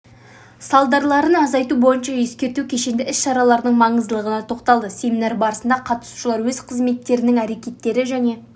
салдарларын азайту бойынша ескерту кешенді іс-шараларының маңыздылығына тоқталды семинар барысында қатысушылар өз қызметтерінің әрекеттері және